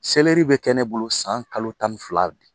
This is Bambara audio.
Seleri bɛ kɛ ne bolo san kalo tan fila